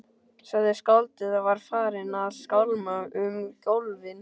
sagði skáldið og var farið að skálma um gólfin.